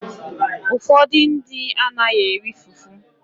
Ụfọdụ ndị anaghị eri fufu.